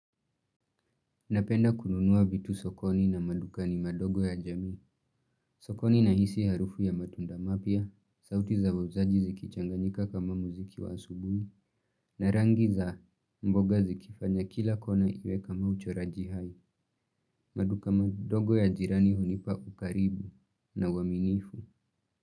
Napenda kununua vitu sokoni na madukani madogo ya jamii. Sokoni na hisi harufu ya matunda mapya, sauti za wauzaji ziki changanyika kama muziki wa asubuni, na rangi za mboga zikifanya kila kona iwe kama ucho rajihai. Maduka madogo ya jirani hunipa ukaribu na uaminifu.